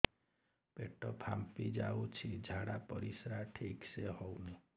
ପେଟ ଫାମ୍ପି ଯାଉଛି ଝାଡ଼ା ପରିସ୍ରା ଠିକ ସେ ହଉନି